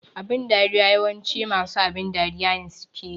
Abin dariya yawanci masu abin dariya ne suke yi